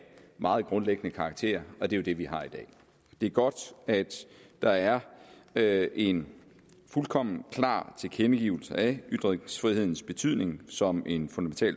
meget grundlæggende karakter og det er jo det vi har i dag det er godt at der er er en fuldkommen klar tilkendegivelse af ytringsfrihedens betydning som en